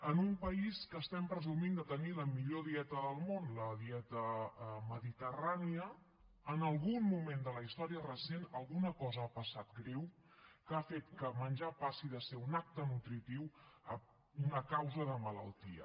en un país que estem presumint de tenir la millor dieta del món la dieta mediterrània en algun moment de la història recent alguna cosa ha passat greu que ha fet que menjar passi de ser un acte nutritiu a una causa de malaltia